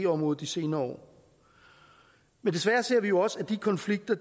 området de senere år men desværre ser vi også at de konflikter